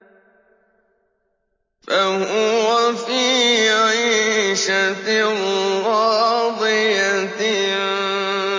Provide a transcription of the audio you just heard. فَهُوَ فِي عِيشَةٍ رَّاضِيَةٍ